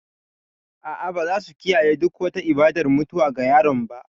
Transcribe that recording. A'a, ba za su kiyaye duk wata ibadar mutuwa ga yaron ba.